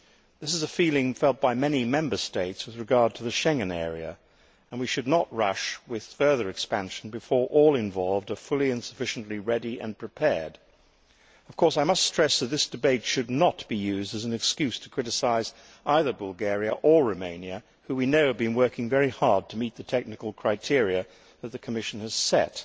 This is a feeling felt by many Member States with regard to the Schengen area and we should not rush with further expansion before all involved are fully and sufficiently ready and prepared. Of course, I must stress that this debate should not be used as an excuse to criticise either Bulgaria or Romania, who we know have been working very hard to meet the technical criteria that the Commission has set.